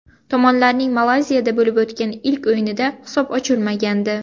Tomonlarning Malayziyada bo‘lib o‘tgan ilk o‘yinida hisob ochilmagandi.